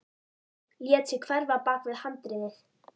Lét sig hverfa bak við handriðið.